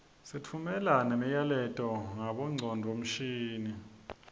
sitfumela nemiyaleto ngabongcondvomshini